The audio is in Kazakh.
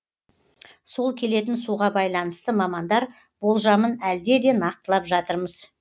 сол келетін суға байланысты мамандар болжамын әлде де нақтылап жатырмыз